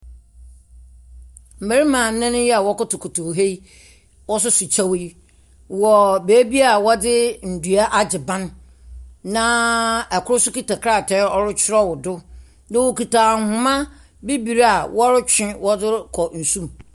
Benyin bi gyina store n'enyim. Na ɔafa no ho. Ɔafa ne ho a ɔyɛ afadze a ɔyɛ ahomka ara yiye. Ndaka nsa sisim nso sisi hɔ bi. Na benyin n'atar no, ma ɔhyem na ma ogu n nsa do no, yɛ ak ahohɔsua ɔyɛ akokɔangua.